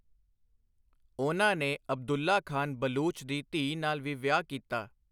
ਉਨ੍ਹਾਂ ਨੇ ਅਬਦੁੱਲਾ ਖਾਨ ਬਲੂਚ ਦੀ ਧੀ ਨਾਲ ਵੀ ਵਿਆਹ ਕੀਤਾ।